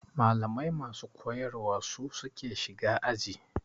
Malamai masu koyar wa su suke shiga aji.